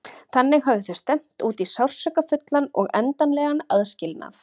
Þannig höfðu þau stefnt út í sársaukafullan og endanlegan aðskilnað.